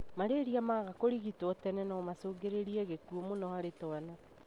Malaria maaga kũrigitwo tene no macũngĩrĩrie gĩkũo mũno harĩ twana.